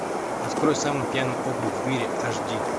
открой самый пьяный округ в мире аш ди